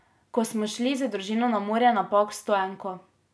Ko smo šli z družino na morje na Pag s stoenko.